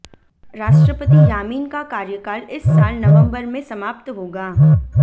राष्ट्रपति यामीन का कार्यकाल इस साल नवंबर में समाप्त होगा